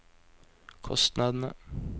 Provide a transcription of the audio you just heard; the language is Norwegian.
kostnadene